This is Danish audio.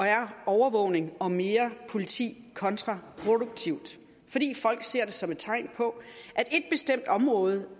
er overvågning og mere politi kontraproduktivt fordi folk ser det som et tegn på at område